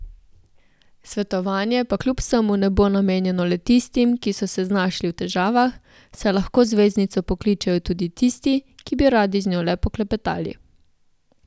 Svetovanje pa kljub vsemu ne bo namenjeno le tistim, ki so se znašli v težavah, saj lahko zvezdnico pokličejo tudi tisti, ki bi radi z njo le poklepetali.